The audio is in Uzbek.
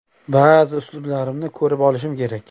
Ba’zi uslublarimni ko‘rib olishim kerak.